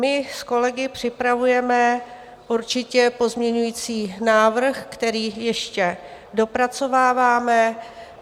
My s kolegy připravujeme určitě pozměňovací návrh, který ještě dopracováváme.